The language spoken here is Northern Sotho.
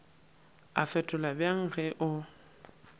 a fetola bjang ge o